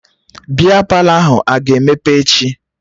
Bịa Palọ ahụ a ga-emepe echi?